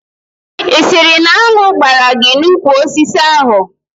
Ị sịrị na añụ gbaara gị n'úkwù osisi ahụ?